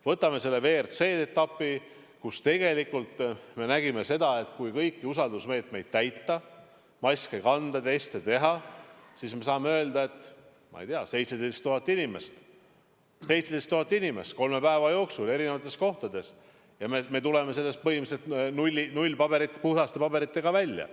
Võtame selle WRC etapi, kus me nägime, et kui kõiki usaldusmeetmeid täita, maske kanda, teste teha, siis saab öelda, et 17 000 inimest oli kolme päeva jooksul eri kohtades ja me tulime sellest põhimõtteliselt puhaste paberitega välja.